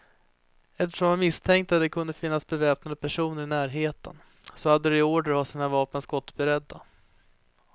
Eftersom man misstänkte att det kunde finnas beväpnade personer i närheten, så hade de order att ha sina vapen skottberedda.